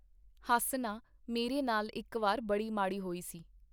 ਹੱਸ ਨਾ, ਮੇਰੇ ਨਾਲ ਇੱਕ ਵਾਰ ਬੜੀ ਮਾੜੀ ਹੋਈ ਸੀ.